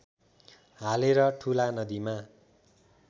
हालेर ठूला नदीमा